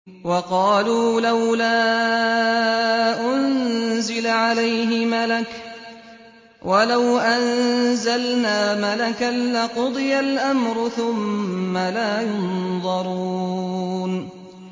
وَقَالُوا لَوْلَا أُنزِلَ عَلَيْهِ مَلَكٌ ۖ وَلَوْ أَنزَلْنَا مَلَكًا لَّقُضِيَ الْأَمْرُ ثُمَّ لَا يُنظَرُونَ